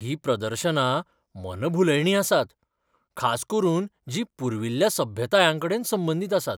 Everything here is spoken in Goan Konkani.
हीं प्रदर्शनां मनभुलयणीं आसात, खास करून जीं पुर्विल्ल्या सभ्यतायांकडेन संबंदीत आसात.